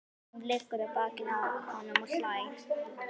Hún liggur á bakinu á honum og hlær.